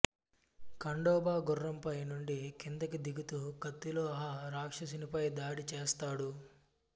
ఖండోబా గుర్రంపై నుండి కిందికి దిగుతూ కత్తిలో ఆ రాక్షసునిపై దాడి చేస్తాడు